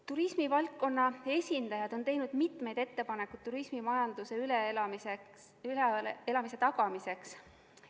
Turismivaldkonna esindajad on teinud mitmeid ettepanekuid turismimajanduse kriisi üleelamise tagamiseks.